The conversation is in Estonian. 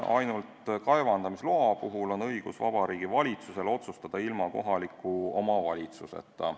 Ainult kaevandamisloa puhul on Vabariigi Valitsusel õigus ilma kohaliku omavalitsuseta otsustada.